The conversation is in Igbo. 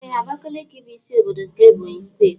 Ee Abakiliki bụ ịsị ọbọdọ nke Ebonyi steeti.